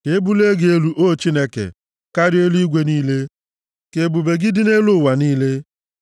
Ka e bulie gị elu, o Chineke, karịa eluigwe niile, ka ebube gị dị nʼelu ụwa niile.